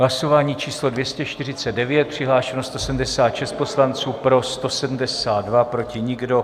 Hlasování číslo 249, přihlášeno 176 poslanců, pro 172, proti nikdo.